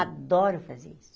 Adoro fazer isso.